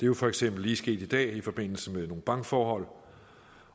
jo for eksempel lige sket i dag i forbindelse med nogle bankforhold